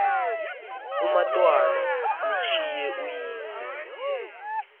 umatwana ushiywe nguyise